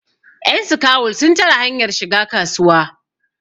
yanskawul sun tare hanyar shiga kasuwa